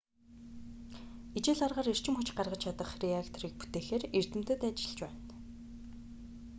ижил аргаар эрчим хүч гаргаж чадах реакторыг бүтээхээр эрдэмтэд ажиллаж байна